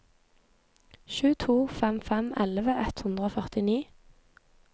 sju to fem fem elleve ett hundre og førtini